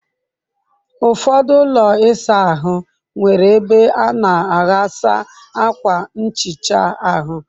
Ụfọdụ ụlọ ịsa ahụ nwere ebe a na aghasa akwa nhicha ahụ.